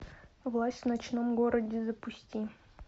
власть в ночном городе запусти